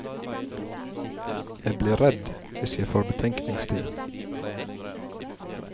Jeg blir redd hvis jeg får betenkningstid.